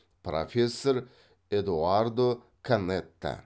профессор эдоардо канетта